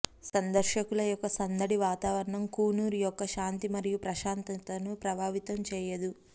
సందర్శకుల యొక్క సందడి వాతావరణం కూనూర్ యొక్క శాంతి మరియు ప్రశాంతతను ప్రభావితం చేయదు